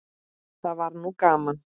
Það var nú gaman.